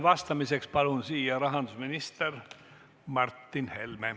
Vastamiseks palun siia rahandusminister Martin Helme!